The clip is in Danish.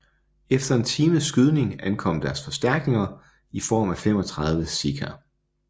Efter en times skydning ankom deres forstærkninger i form af 35 sikher